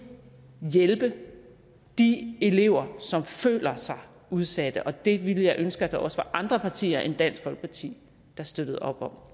hjælpe de elever som føler sig udsatte det ville jeg ønske at der også var andre partier end dansk folkeparti der støttede op om